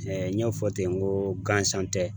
n y'a fɔ ten ko gansan tɛ.